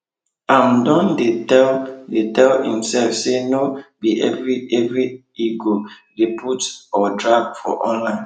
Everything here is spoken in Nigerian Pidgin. im don dey tell dey tell imsef say nor be every every im go de put or drag for online